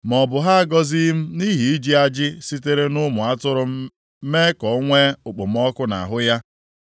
ma obi ha agọzighị m nʼihi iji ajị sitere nʼụmụ atụrụ m mee ka o nwee okpomọkụ nʼahụ ya.